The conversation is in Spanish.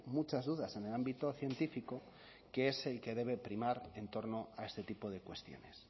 muchas dudas en el ámbito científico que es el que debe primar en torno a este tipo de cuestiones